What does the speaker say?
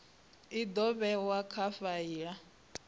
i do vhewa kha faili